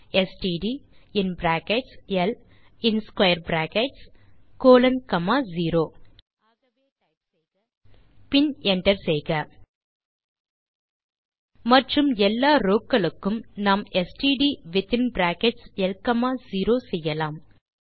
ஆகவே டைப் செய்க ஸ்ட்ட் இன் பிராக்கெட்ஸ் ல் மற்றும் in square brackets colon comma 0 பின் என்டர் செய்க மற்றும் எல்லா ரோவ் களுக்கும் நாம் ஸ்ட்ட் வித்தின் பிராக்கெட்ஸ் ல் காமா 0 செய்யலாம்